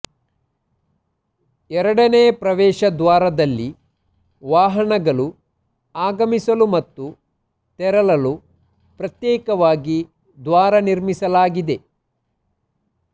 ಎರಡನೇ ಪ್ರವೇಶ ದ್ವಾರದಲ್ಲಿ ವಾಹನಗಳು ಆಗಮಿಸಲು ಮತ್ತು ತೆರಳಲು ಪ್ರತ್ಯೇಕವಾಗಿ ದ್ವಾರ ನಿರ್ಮಿಸಲಾಗಿದೆ